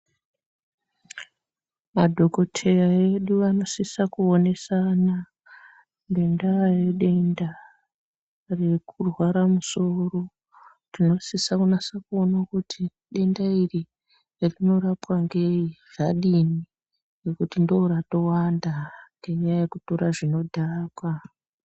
Madhokoteya edu vanosisa ku onesana ngenda ye denda reku rwara musoro tino sisa kunasa kuona kuti denda iri rino rapwa ngei zvadini nekuti ndo rato wanda nenya yeku tora zvino dhaka.